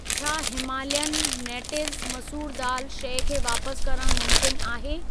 छा Himalayan natives मसूर दाल शइ खे वापस करण मुमकिन आहे?